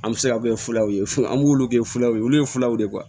An bɛ se ka kɛ fulaw ye fu an b'ulu kɛ fulaw ye olu ye fulaw ye